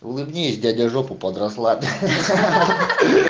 улыбнись дяде жопу под раслады